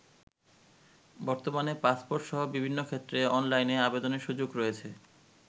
বর্তমানে পাসপোর্টসহ বিভিন্ন ক্ষেত্রে অনলাইনে আবেদনের সুযোগ রয়েছে।